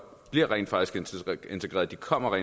rent faktisk bliver integreret de kommer